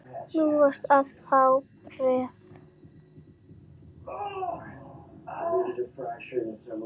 Þú varst að fá bréf.